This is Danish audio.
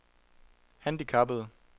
handicappede